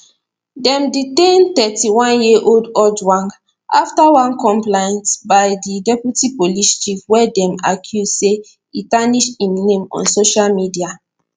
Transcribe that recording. dem detain 31yearold ojwang afta one complaint by di deputy police chief wey dem accuse say e tarnish im name on social media